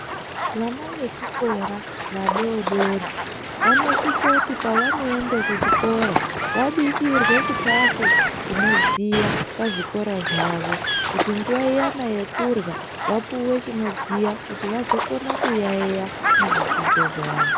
Vana vechikora vadoodori vanosise kuti pevanoenda kuchikora vabikirwe chikhafu chinodziya pazvikora zvavo kuti nguwa iyani yekurya vapuwe chinodziya kuti vazokona kuyaiya muzvidzidzo zvavo.